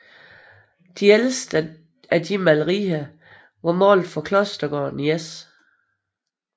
De ældste af disse malerier var malede for klostergården i S